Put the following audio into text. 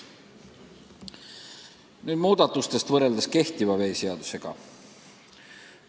Nüüd muudatustest võrreldes praeguse veeseadusega.